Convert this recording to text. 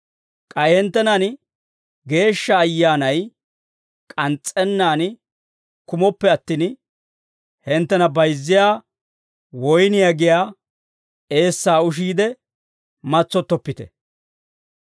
K'ay hinttenan Geeshsha Ayyaanay k'ans's'ennaan kumooppe attin, hinttena bayizziyaa woyniyaa giyaa eessaa ushiide matsottoppite.